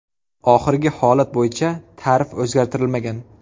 Oxirgi holat bo‘yicha tarif o‘zgartirilmagan.